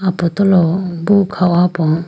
apotolo bo kha ho po.